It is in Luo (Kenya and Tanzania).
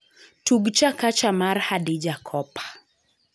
Tug chakacha mar Hadija Kopa